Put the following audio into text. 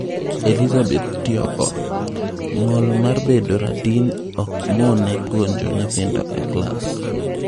Elizabeth Tioko: ng'ol mar bedo radin ok mone puonjo nyithindo e klas